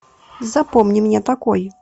запомни меня такой